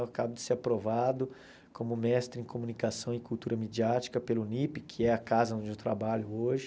Eu acabo de ser aprovado como mestre em comunicação e cultura midiática pelo MIP, que é a casa onde eu trabalho hoje.